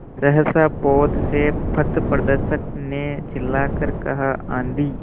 सहसा पोत से पथप्रदर्शक ने चिल्लाकर कहा आँधी